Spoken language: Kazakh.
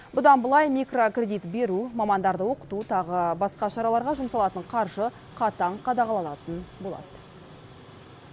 бұдан былай микрокредит беру мамандарды оқыту тағы басқа шараларға жұмсалатын қаржы қатаң қадағаланатын болады